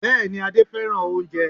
Bẹ́ẹ̀ ni, Adé fẹ́ràn oúnjẹ